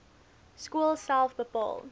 skool self bepaal